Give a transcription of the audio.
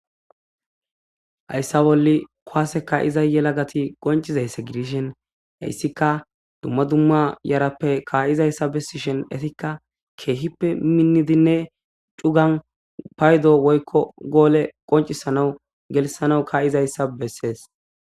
Hayssa bolli kowaseka iza yela gati qoncizaysse gidishen hayssika dumma dumma yarappe kaayizayssa bessishen etikka keehippe minnidinne cugan paydo woykko goole qoncisanau gelisana kaa7izayssa bessees.